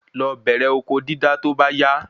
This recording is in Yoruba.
Lo bẹrẹ oko dídá to ba ya